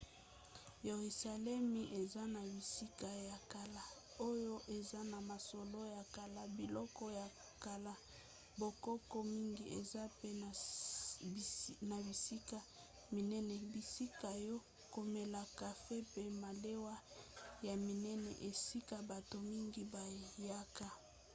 yeruzalemi eza na bisika ya kala oyo eza na masolo ya kala biloko ya kala bokoko mingi eza mpe na bisika minene bisika ya komela kafe mpe malewa ya minene esika bato mingi bayaka